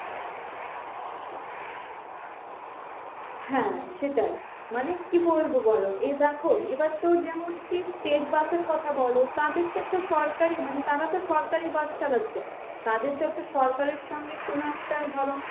হ্যাঁ সেটাই মানে কি বলবো বলো এ দেখো এবার তো যেমন কি state bus এর কথা বলো তাদের তো একটা সরকারি মানে তারা তো সরকারি bus চালাচ্ছে, তাদের তো একটা সরকারের সঙ্গে কোনো একটা ধরো